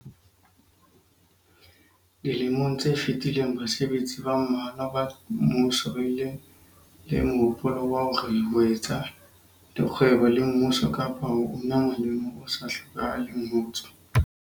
Dilemong tse fetileng basebetsi ba mmalwa ba mmuso ba bile le mohopolo wa hore ho etsa le kgwebo le mmuso kapa ho una molemo o sa hlokahaleng ho tswa